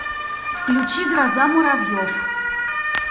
включи гроза муравьев